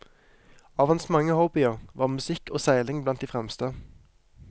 Av hans mange hobbyer var musikk og seiling blant de fremste.